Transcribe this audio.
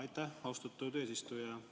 Aitäh, austatud eesistuja!